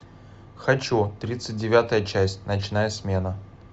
хочу тридцать девятая часть ночная смена